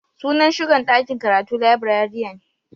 Sunan shugan dakin karatu Librarian.